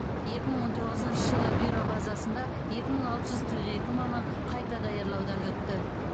екі мың он тоғызыншы жылы бюро базасында екі мың алты жүз қырық екі маман қайта даярлаудан өтті